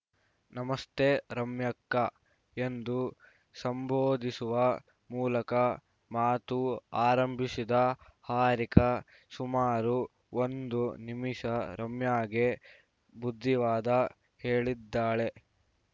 ನಮಸ್ತೆ ರಮ್ಯಕ್ಕಾ ಎಂದು ಸಂಬೋಧಿಸುವ ಮೂಲಕ ಮಾತು ಆರಂಭಿಸಿದ ಹಾರಿಕಾ ಸುಮಾರು ಒಂದು ನಿಮಿಷ ರಮ್ಯಾಗೆ ಬುದ್ಧಿವಾದ ಹೇಳಿದ್ದಾಳೆ